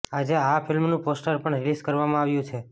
આજે આ ફિલ્મનું પોસ્ટર પણ રિલીઝ કરવામાં આવ્યું છે